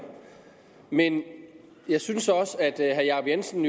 men jeg synes også at herre jacob jensen